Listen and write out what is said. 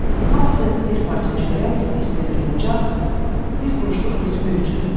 Hamısı bir parça çörək, isti bir bucaq, bir quruşluq rütbə üçün.